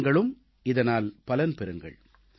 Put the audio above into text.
நீங்களும் இதனால் பலன் பெறுங்கள்